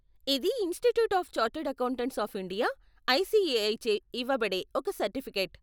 ఇది institute of chartered accountants of India, ICAI చే ఇవ్వబడే ఒక సర్టిఫికేట్.